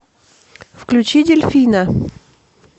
включи дельфина